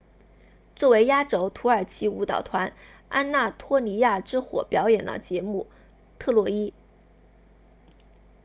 作为压轴土耳其舞蹈团安纳托利亚之火表演了节目特洛伊